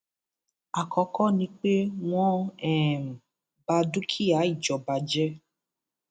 àkọkọ ni pé wọn um ba dúkìá ìjọba jẹ